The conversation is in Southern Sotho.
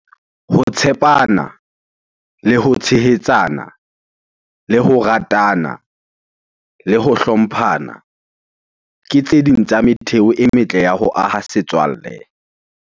Ho tshepana, le ho tshehetsana, le ho ratana, le ho hlomphana ke tse ding tsa metheo e metle ya ho aha setswalle.